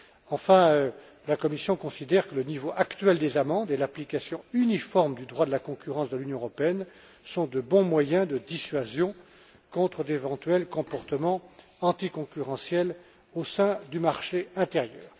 Enfin, la Commission considère que le niveau actuel des amendes et l'application uniforme du droit de la concurrence de l'Union européenne sont de bons moyens de dissuasion contre d'éventuels comportements anticoncurrentiels au sein du marché intérieur.